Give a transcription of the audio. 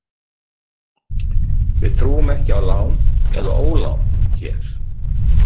Við trúum ekki á lán eða ólán hér.